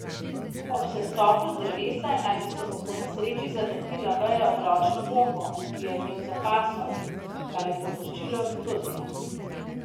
Ob sestopu z drevesa naj bi se mu po nesreči zataknila veja ob ročno bombo, ki jo je imel za pasom, kar je povzročilo eksplozijo.